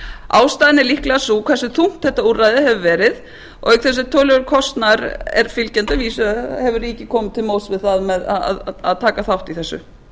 ástæðan er líklega sú hversu þungt þetta úrræði hefur verið og auk þess sem töluverður kostnaður er fylgjandi að vísu hefur ríkið komið til móts við það með að taka þátt í þessu